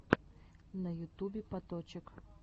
на ютубе паточек